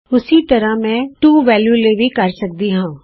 ਉਸੀ ਤਰ੍ਹਾਂ ਮੈਂ ਇਹ ਟੂ ਵੇਲਯੂ ਲਈ ਕਰ ਸਕਦੀ ਹਾਂ